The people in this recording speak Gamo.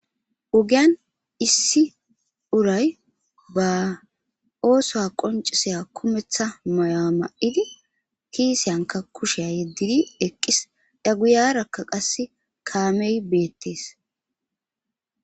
Ogiyan issi uray baa oosuwaa qonccissiya kumeththa mayuwaa ma7idi kiisiyankka kushiya yeddidi eqqis; a guyaarakka qassi kaamee beeththees.